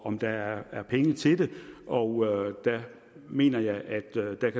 om der er penge til det og der mener jeg at